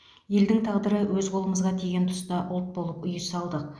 елдің тағдыры өз қолымызға тиген тұста ұлт болып ұй салдық